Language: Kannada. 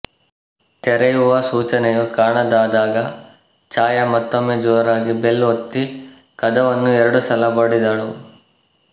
ತೆರೆಯುವ ಸೂಚನೆಯೂ ಕಾಣದಾದಾಗ ಛಾಯಾ ಮತ್ತೊಮ್ಮೆ ಜೋರಾಗಿ ಬೆಲ್ ಒತ್ತಿ ಕದವನ್ನು ಎರಡು ಸಲ ಬಡಿದಳು